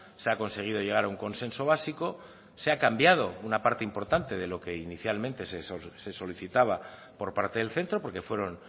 se ha conseguido llegar a un consenso básico se ha cambiado una parte importante de lo que inicialmente se solicitaba por parte del centro porque fueron